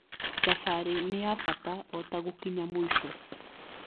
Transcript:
Thabarĩ nĩ ya bata o ta gũkinya mũico